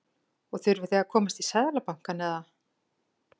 Og þurfið þið að komast í Seðlabankann eða?